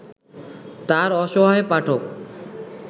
তাঁর অসহায় পাঠক